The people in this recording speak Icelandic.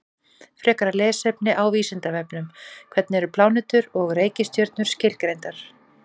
Frekara lesefni á Vísindavefnum: Hvernig eru plánetur og reikistjörnur skilgreindar?